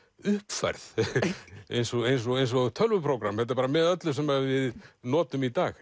uppfærð eins og eins og eins og tölvuprógramm þetta er bara með öllu sem við notum í dag